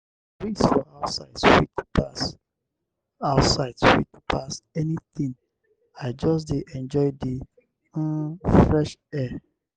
breeze for outside sweet pass outside sweet pass anything i just dey enjoy the um fresh air.